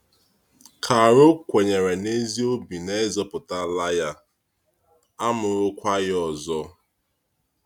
Charo kwenyere n’ezi obi na e zọpụtaala ya, a mụrụkwa ya ọzọ.